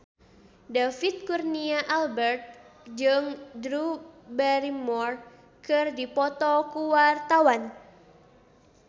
David Kurnia Albert jeung Drew Barrymore keur dipoto ku wartawan